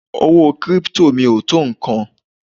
Owó kírípítò mi ò tó nǹkan.